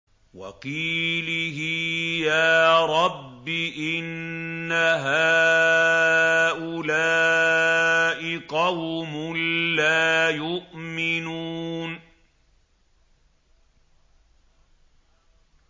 وَقِيلِهِ يَا رَبِّ إِنَّ هَٰؤُلَاءِ قَوْمٌ لَّا يُؤْمِنُونَ